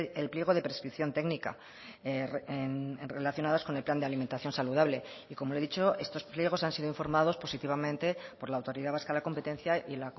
el pliego de prescripción técnica relacionadas con el plan de alimentación saludable y como le he dicho estos pliegos han sido informados positivamente por la autoridad vasca de la competencia y